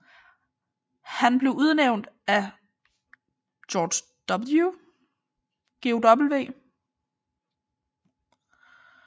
Han blev udnævnt af George W